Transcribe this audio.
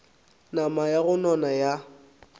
nama ya go nona ya